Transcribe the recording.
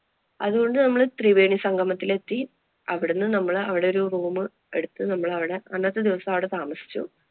അതുകൊണ്ട് നമ്മള് ത്രിവേണി സംഗമത്തില്‍ എത്തി. അവിടുന്ന് നമ്മള് അവിടെ ഒരു room എടുത്തു നമ്മള് അവിടെ അന്നത്തെ ദിവസം അവിടെ താമസിച്ചു.